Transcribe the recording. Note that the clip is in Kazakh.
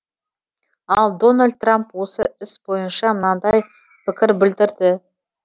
ал дональд трамп осы іс бойынша мынадай пікір білдірді